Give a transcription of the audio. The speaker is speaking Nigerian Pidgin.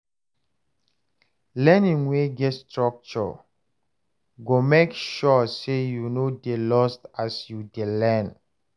Learning wey get structure go make sure say you no dey lost as you dey learn.